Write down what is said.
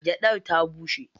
Gyaɗar ta bushe.